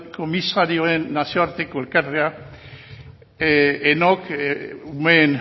komisarioen nazioarteko elkartea umeen